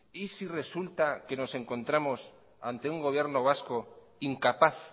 y si resulta que nos encontramos ante un gobierno vasco incapaz